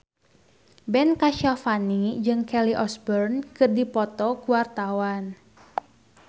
Ben Kasyafani jeung Kelly Osbourne keur dipoto ku wartawan